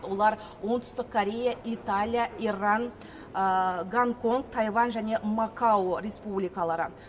олар оңтүстік корея италия иран гонконг тайвань және макао республикалары